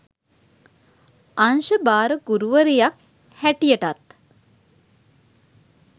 අංශ භාර ගුරුවරියක් හැටියටත්